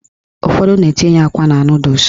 Ụfọdụ na-etinye akwa na nọdụs